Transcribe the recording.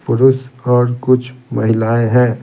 पुरुष और कुछ महिलाएं हैं।